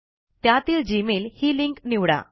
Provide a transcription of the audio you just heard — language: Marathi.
त्यातील जीमेल ही लिंक निवडा